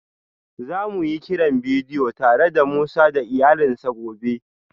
Za mu yi kiran bidiyo tare da Musa da iyalansa gobe